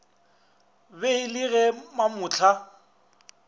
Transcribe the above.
be e le ge mamohla